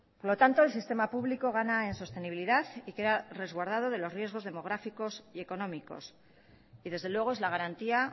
por lo tanto el sistema público gana en sostenibilidad y queda resguardado de los riesgos demográficos y económicos y desde luego es la garantía